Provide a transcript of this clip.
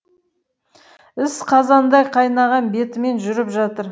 іс қазандай қайнаған бетімен жүріп жатыр